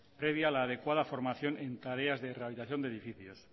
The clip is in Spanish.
previa a la adecuada formación en tareas de rehabilitación de edificios